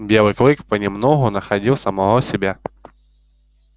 белый клык понемногу находил самого себя